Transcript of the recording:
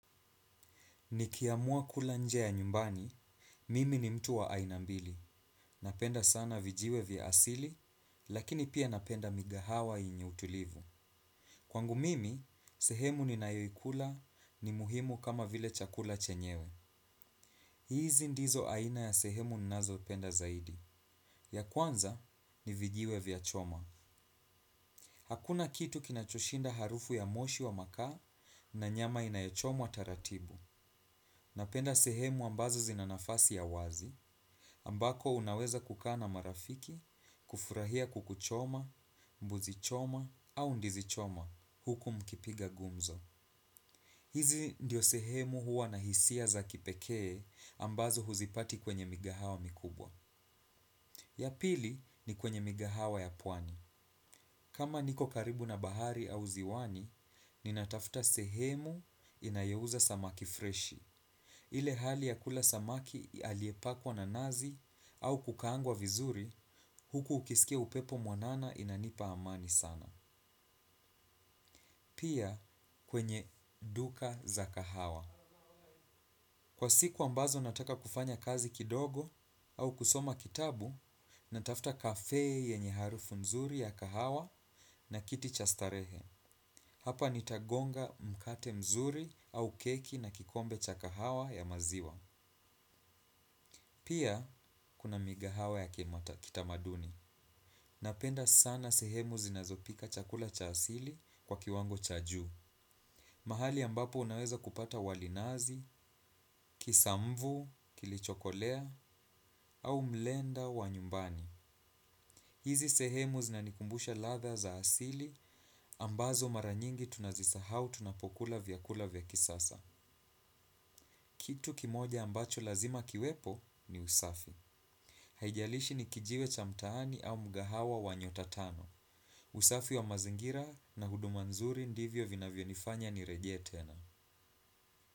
Nikiamua kula nje ya nyumbani, mimi ni mtu wa aina mbili. Napenda sana vijiwe vya asili, lakini pia napenda migahawa yenye utulivu. Kwangu mimi, sehemu ninayoikula ni muhimu kama vile chakula chenyewe. Hizi ndizo aina ya sehemu nnazopenda zaidi. Ya kwanza ni vijiwe vya choma. Hakuna kitu kinachoshinda harufu ya moshi wa makaa na nyama inayochomwa taratibu. Napenda sehemu ambazo zina nafasi ya wazi. Ambako unaweza kukaa na marafiki, kufurahia kuku choma, mbuzi choma, au ndizi choma huku mkipiga gumzo. Hizi ndio sehemu huwa na hisia za kipekee ambazo huzipati kwenye migahawa mikubwa. Ya pili ni kwenye migahawa ya puani. Kama niko karibu na bahari au ziwani, ninatafta sehemu inayouza samaki freshi. Ile hali ya kula samaki aliepakwa na nazi au kukaangwa vizuri, huku ukisikia upepo mwanana inanipa amani sana. Pia kwenye duka za kahawa. Kwa siku ambazo nataka kufanya kazi kidogo au kusoma kitabu, natafta kafe yenye harufu mzuri ya kahawa na kiti cha starehe. Hapa nitagonga mkate mzuri au keki na kikombe cha kahawa ya maziwa. Pia, kuna migahawa ya kimata kitamaduni. Napenda sana sehemu zinazopika chakula cha asili kwa kiwango cha juu. Mahali ambapo unaweza kupata wali nazi, kisamvu, kilichokolea, au mlenda wa nyumbani. Hizi sehemu zinanikumbusha ladha za asili ambazo mara nyingi tunazisahau tunapokula vyakula vya kisasa. Kitu kimoja ambacho lazima kiwepo ni usafi. Haijalishi ni kijiwe cha mtaani au mgahawa wa nyota tano. Usafi wa mazingira na huduma nzuri ndivyo vinavyonifanya nireje tena.